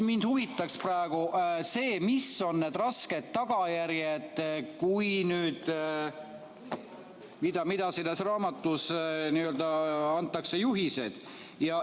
Mind huvitaks praegu see, mis on need rasked tagajärjed, mille kohta selles raamatus antakse juhised.